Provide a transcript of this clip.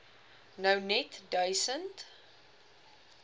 nou net duisend